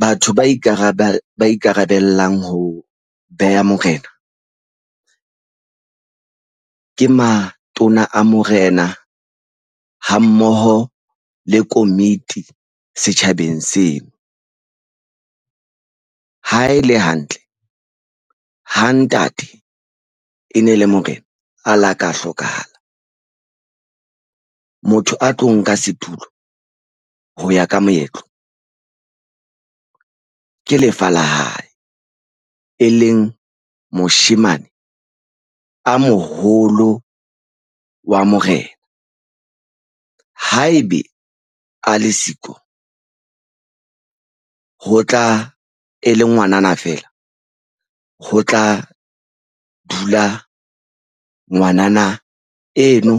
Batho ba ba ikarabellang ho beha morena ke matona a morena. Ha mmoho le komiti setjhabeng seno. Ha e le hantle, ha ntate e ne le morena a la ka hlokahala. Motho a tlo nka setulo ho ya ka moetlo. Ke lefa la hae e leng moshemane a moholo wa morena. Haebe a le siko, ho tla e le ngwanana fela, ho tla dula ngwanana eno